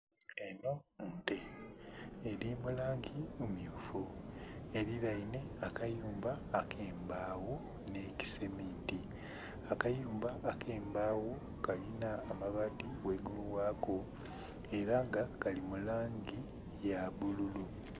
Enho nte eli mu langi mmyufu, elilainhe akayumba ak'embagho n'ekiseminti. Akayumba ak'embagho kalina amabaati ghaigulu wako ela nga kali mu langi ya bbululu.